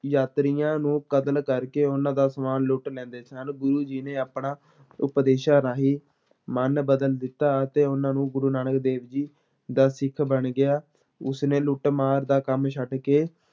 ਯਾਤਰੀਆਂ ਨੂੰ ਕਤਲ ਕਰਕੇ ਉਹਨਾਂ ਦਾ ਸਮਾਨ ਲੁੱਟ ਲੈਂਦਾ ਸਨ, ਗੁਰੂ ਜੀ ਨੇ ਆਪਣਾ ਉਪਦੇਸ਼ਾਂ ਰਾਹੀਂ ਮਨ ਬਦਲ ਦਿੱਤਾ ਅਤੇ ਉਹਨਾਂ ਨੂੰ ਗੁਰੂ ਨਾਨਕ ਦੇਵ ਜੀ ਦਾ ਸਿੱਖ ਬਣ ਗਿਆ, ਉਸਨੇ ਲੁਟੱਮਾਰ ਦਾ ਕੰਮ ਛੱਡ ਕੇ